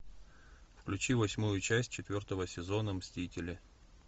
включи восьмую часть четвертого сезона мстители